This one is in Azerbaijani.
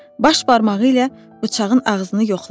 Baş barmağı ilə bıçağın ağzını yoxladı.